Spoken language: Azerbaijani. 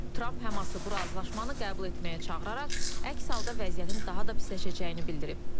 Tramp Həması bu razılaşmanı qəbul etməyə çağıraraq, əks halda vəziyyətin daha da pisləşəcəyini bildirib.